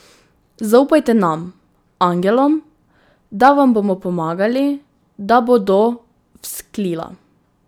Zaupajte nam, angelom, da vam bomo pomagali, da bodo vzklila.